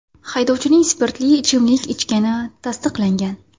Haydovchining spirtli ichimlik ichgani tasdiqlangan.